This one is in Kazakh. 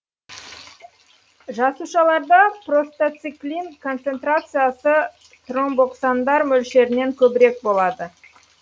жасушаларда простациклин концентрациясы тромбоксандар мөлшерінен көбірек болады